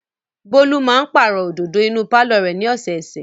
Bólú máa pàrọ̀ òdòdó inú pálọ̀ rẹ̀ ní ọ̀sẹ̀ẹ̀sẹ̀.